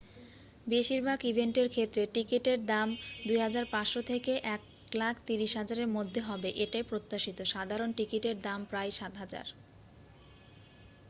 বেশিরভাগ ইভেন্টের ক্ষেত্রে টিকিটের দাম ¥2,500 থেকে ¥130,000 এর মধ্যে হবে এটাই প্রত্যাশিত সাধারণ টিকিটের দাম প্রায় ¥7,000